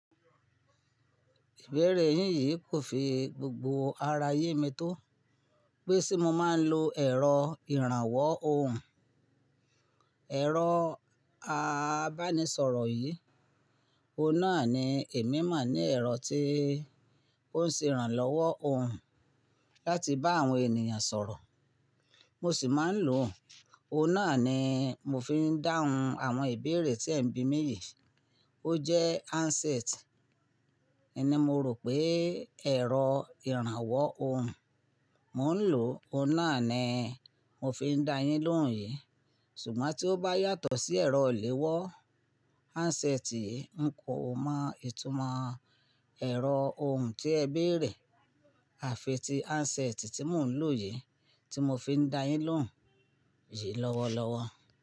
Ìbéèrè yín yìí kò fi gbogbo ara yé mi tó. Pé ṣé mo máa ń lo ẹ̀rọ ìrànwọ́ ohùn. Ẹ̀rọ abánisọ̀rọ̀ yìí, ò n nà ni èmi mọ̀ ní ẹ̀rọ tí ó ń ṣe ìrànlọ́wọ́ ohùn láti bá àwọn ènìyàn sọ̀rọ̀. Mo sì máa ń lò o, ò n náà ni mo fi ń dáhùn àwọn ìbéèrè tí ẹ̀ ń bí mi yìí. Ó jẹ́ handset. N ni mó rò pé ẹ̀rọ ìrànwọ́ ohùn. Mò ń lò ò n náà ni mo fi ń dá yín lóhùn yìí. Ṣùgbọ́n tí ó bá yàtọ̀ sí ẹ̀rọ ìléwọ́ handset yìí, n kò mọ ìtumọ̀ ẹ̀rọ ohùn tí ẹ béèrè, àfi tí handset tí mò ń lò yìí tí mo fi ń dá yín lóhùn yìí lọ́wọ́lọ́wọ́.